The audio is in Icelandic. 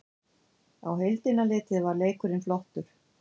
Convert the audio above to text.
Á heildina litið var leikurinn flottur